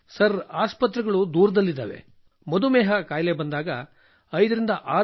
sir ಆಸ್ಪತ್ರೆಗಳು ದೂರದಲ್ಲಿವೆ ಮಧುಮೇಹ ಕಾಯಿಲೆ ಬಂದಾಗ 56 ಕಿ